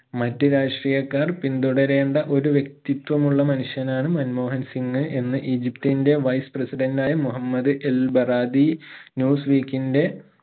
മറ്റു രാഷ്ട്രീയക്കാർ പിന്തുടരേണ്ട ഒരു വ്യക്തിത്വമുള്ള മനുഷ്യനാണ് മൻമോഹൻ സിംഗ് എന്ന് ഈജിപ്റ്റിന്റെ wise president ആയ മുഹമ്മ്ദ് എൽബറാദി news week ഇന്റെ